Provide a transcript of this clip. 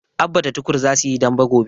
Abba da Tukur za su yi dambe gobe.